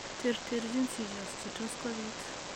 Terterchin seizures che tot kobit